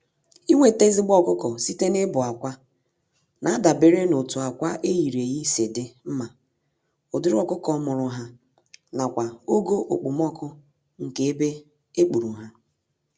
Inweta ezigbo ọkụkọ site na ịbụ-akwa nadabere n'otu ákwà eyiri-eyi si dị mmá, ụdịrị ọkụkọ mụrụ ha, nakwa ogo okpomọkụ nke ebe ekpuru há